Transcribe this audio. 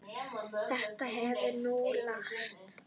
Þetta hefur nú lagast.